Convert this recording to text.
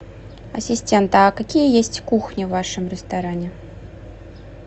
ассистент а какие есть кухни в вашем ресторане